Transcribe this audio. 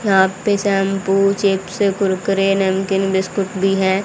यहां पे shampoo chips Kurkure नमकीन बिस्कुट भी हैं।